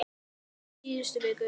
Í síðustu viku.